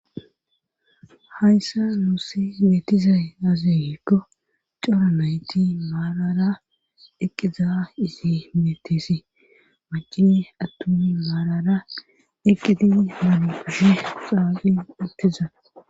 hayssa nuussi geetizay aazegikko cora nayti maalara eqqiza izi metisi macini attumi maalara eqqidi man puhi xawagi ittiza